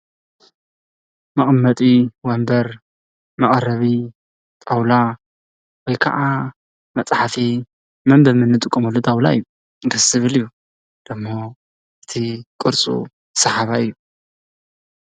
መቐመጢ ወንብር፣ መቐረቢ ንጣዉላ ወይ ከዓ መፅሓፊ መንበቢ እንጥቀመሉ ጣዉላ እዩ። ደስ ዝብል እዩ። ዶሞ እቲ ቅርፁ ስሓባይ እዩ።